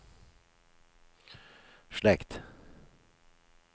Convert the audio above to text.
slekt